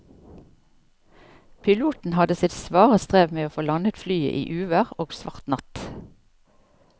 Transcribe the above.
Piloten hadde sitt svare strev med å få landet flyet i uvær og svart natt.